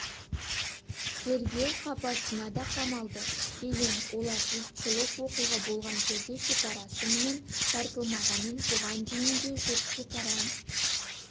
тергеу қапасынақамалды кейін оларжұртшылық оқиға болған жерде шекара сымының тартылмағанын бұған дейін де жұрт шекара